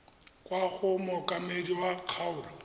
kwa go mookamedi wa kgaolo